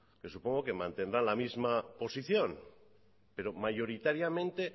pero supongo que mantendrá la misma posición pero mayoritariamente